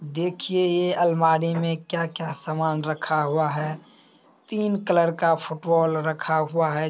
देखिए ये अलमारी में क्या-क्या सामान रखा हुआ है। तीन कलर का फुटबॉल रखा हुआ है।